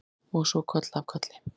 Og svo koll af kolli.